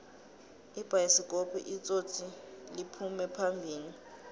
ibayisikopu itsotsliphume phambili